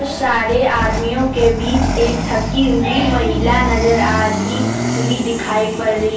सारे आदमियों के बीच एक थकी हुई महिला नजर आती हुई दिखाई पड़ रही है।